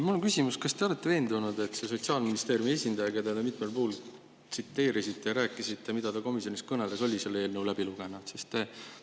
Mul on küsimus: kas te olete veendunud, et see Sotsiaalministeeriumi esindaja, keda te mitmel puhul tsiteerisite ja kelle kohta rääkisite, mida ta komisjonis kõneles, oli selle eelnõu ikka läbi lugenud?